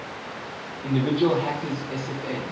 individual hackers sfn